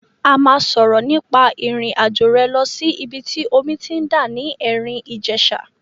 A máa sọ̀rọ̀ nípa ìrìn àjò rẹ lọ sí ìbi tí omi ti ń dà ní Erin Ijesa.